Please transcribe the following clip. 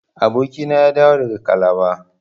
Abokina ya dawo daga calabar.